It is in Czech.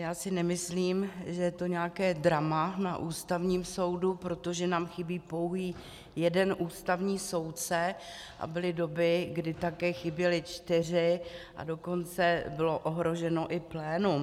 Já si nemyslím, že je to nějaké drama na Ústavním soudu, protože nám chybí pouhý jeden ústavní soudce a byly doby, kdy také chyběli čtyři, a dokonce bylo ohroženo i plénum.